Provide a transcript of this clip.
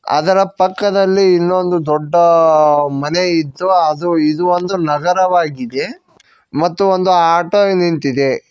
ಅದರ ಪಕ್ಕದಲ್ಲಿ ಇನ್ನೊಂದು ದೊಡ್ಡ ಮನೆ ಇದ್ದು ಅದು ಇದು ಒಂದು ನಗರವಾಗಿದೆ ಮತ್ತು ಒಂದು ಆಟೋ ನಿಂತಿದೆ.